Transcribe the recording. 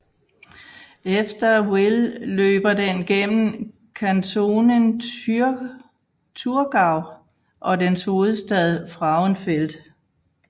Efter Wil løber den gennem Kantonen Thurgau og dens hovedstad Frauenfeld